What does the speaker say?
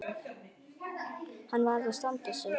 Hann varð að standa sig.